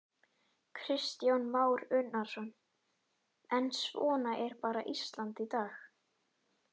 Kristján Már Unnarsson: En svona er bara Ísland í dag?